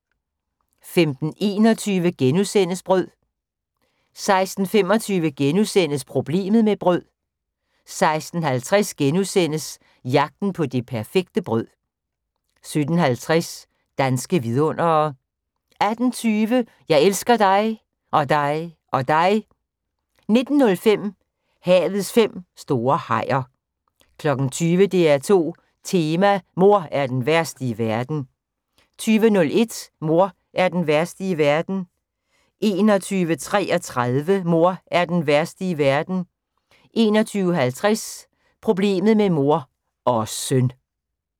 15:21: Brød * 16:25: Problemet med brød * 16:50: Jagten på det perfekte brød * 17:50: Danske vidundere 18:20: Jeg elsker dig. Og dig. Og dig 19:05: Havets fem store hajer 20:00: DR2 Tema: Mor er den værste i verden 20:01: Mor er den værste i verden 21:33: Mor er den værste i verden 21:50: Problemet med mor – og søn!